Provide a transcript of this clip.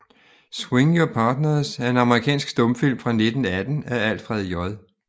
Swing Your Partners er en amerikansk stumfilm fra 1918 af Alfred J